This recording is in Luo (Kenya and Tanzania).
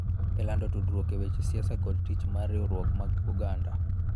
E lando tudruok e weche siasa kod tich mar riwruok mag oganda.